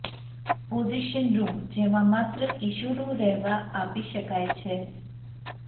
possession room જેમાં માત્ર કિશોરો રહેવા આપી શકાય છે